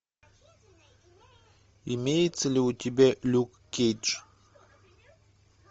имеется ли у тебя люк кейдж